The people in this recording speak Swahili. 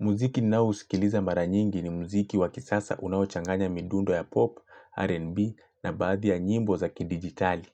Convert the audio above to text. Muziki ninao usikiliza mara nyingi ni mziki wakisasa unaochanganya midundo ya pop, R&B na baadhi ya nyimbo za ki-digitali.